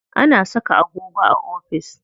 Ana saka agogo a ofis.